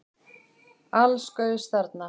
Alls gaus þarna